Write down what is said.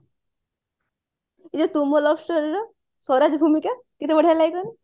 ଏ ତୁ ମୋ love story ର ସ୍ଵରାଜ ଭୂମିକା କେତେ ବଢିଆ ଲାଗେ କହିଲୁ